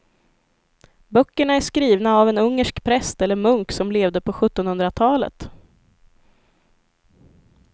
Böckerna är skrivna av en ungersk präst eller munk som levde på sjuttonhundratalet.